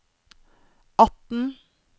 atten